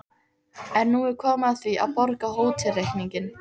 En nú er komið að því að borga hótelreikninginn.